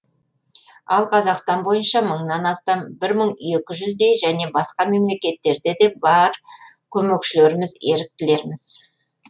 ал қазақстан бойынша мыңнан астам бір мың екі жүздей және басқа мемлекеттерде де бар көмекшілеріміз еріктілеріміз